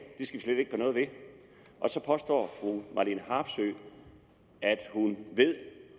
skal vi noget ved og så påstår fru marlene harpsøe at hun ved